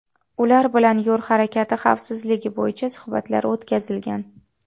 Ular bilan yo‘l harakati xavfsizligi bo‘yicha suhbatlar o‘tkazilgan.